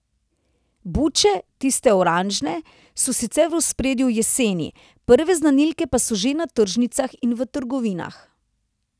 Buče, tiste oranžne, so sicer v ospredju jeseni, prve znanilke pa so že na tržnicah in v trgovinah.